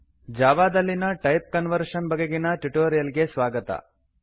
Java ದಲ್ಲಿನ type conversion ಬಗೆಗಿನ tutorial ಗೆ ಸ್ವಾಗತ